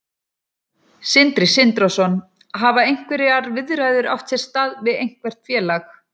Sindri Sindrason: Hafa einhverjar viðræður átt sér stað við eitthvert félag?